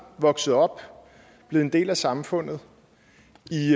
vokset op er blevet en del af samfundet